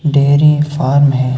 Dairy farm है।